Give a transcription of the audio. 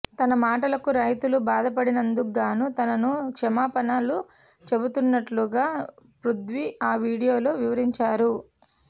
తన మాటలకు రైతులు బాధపడినందుకుగాను తనను క్షమాపణలు చెబుతున్నట్టుగా పృథ్వీ ఆ వీడియోలో వివరించారు